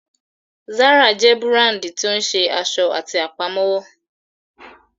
Zara jẹ́ búràndì tí ó ń ṣe aṣọ àti Àpámọ́wọ́